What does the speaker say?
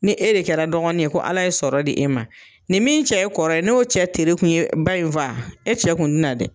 Ni e de kɛra dɔgɔnin ye ko Ala ye sɔrɔ di e ma, nin min cɛ ye kɔrɔ ye n'o cɛ teri kun ye ba in faa e cɛ kun tɛ na dɛ.